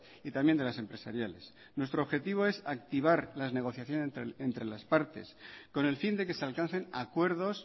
y también de las empresariales nuestro objetivo es activar las negociaciones entre las partes con el fin de que se alcancen acuerdos